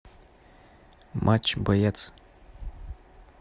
матч боец